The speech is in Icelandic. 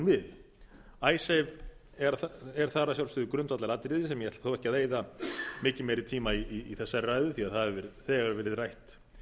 við icesave eða það er að sjálfsögðu grundvallaratriði sem ég ætla þó ekki að eyða mikið meiri tíma í þessari ræðu því það hefur þegar verið rætt